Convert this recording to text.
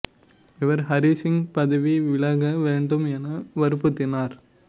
இவர் ஹரி சிங் பதவி விலக வேண்டும் என வற்புறுத்தினார்